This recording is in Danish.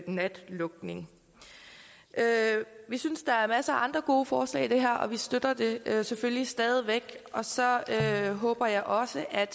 natlukning vi synes der er masser af andre gode forslag i det her og vi støtter det selvfølgelig stadig væk så håber jeg også at